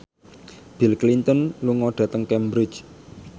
Bill Clinton lunga dhateng Cambridge